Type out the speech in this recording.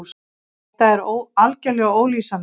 Þetta er algerlega ólýsanlegt.